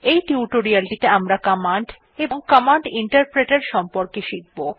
এই টিউটোরিয়ালেটিতে আমরা কমান্ড এবং কমান্ড ইন্টারপ্রেটের সম্পর্কে শিখব